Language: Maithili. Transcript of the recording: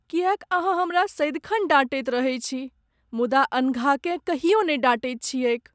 किएक अहाँ हमरा सदिखन डाँटैत रहैत छी मुदा अनघाकेँ कहियो नहि डाँटैत छियैक ?